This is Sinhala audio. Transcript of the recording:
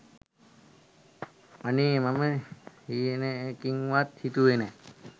අනේ මම හීනකින්වත් හිතුවේ නෑ